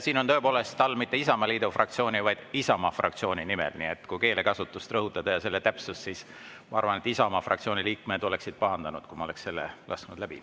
Siin on tõepoolest all mitte "Isamaaliidu fraktsiooni", vaid "Isamaa fraktsiooni" nimel, nii et kui rõhutada keelekasutust ja selle täpsust, siis ma arvan, et Isamaa fraktsiooni liikmed oleksid pahandanud, kui ma oleksin selle läbi lasknud.